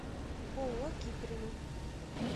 ооо киприно